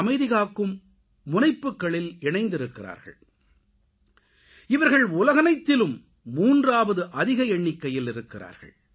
அமைதிகாக்கும் முனைப்புகளில் இணைந்திருக்கிறார்கள் இவர்கள் உலகனைத்திலும் 3வது அதிக எண்ணிக்கையில் இருக்கிறார்கள்